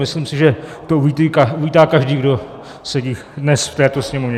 Myslím si, že to uvítá každý, kdo sedí dnes v této sněmovně.